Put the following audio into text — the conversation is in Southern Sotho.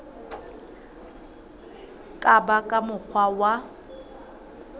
ka ba ka mokgwa wa